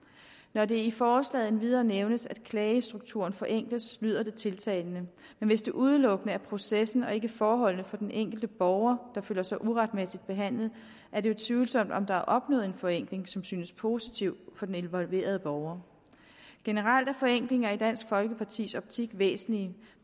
når det i forslaget endvidere nævnes at klagestrukturen forenkles lyder det tiltalende men hvis det udelukkende omfatter processen og ikke forholdene for den enkelte borger der føler sig uretmæssigt behandlet er det jo tvivlsomt om der er opnået en forenkling som synes positiv for den involverede borger generelt er forenklinger i dansk folkepartis optik væsentlige